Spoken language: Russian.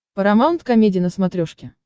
парамаунт комеди на смотрешке